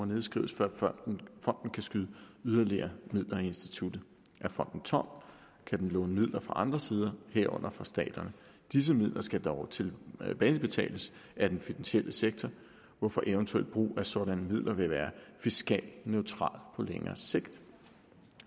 nedskrives før fonden kan skyde yderligere midler i instituttet er fonden tom kan den låne midler fra andre sider herunder fra staterne disse midler skal dog tilbagebetales af den finansielle sektor hvorfor eventuel brug af sådanne midler vil være fiskalt neutral på længere sigt